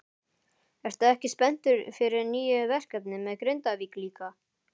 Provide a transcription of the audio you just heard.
Ertu ekki spenntur fyrir nýju verkefni með Grindavík líka?